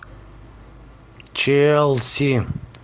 челси